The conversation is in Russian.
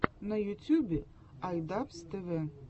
на ютюбе ай дабз тэ вэ